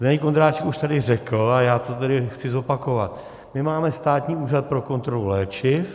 Zdeněk Ondráček už tady řekl a já to tedy chci zopakovat, my máme Státní úřad pro kontrolu léčiv.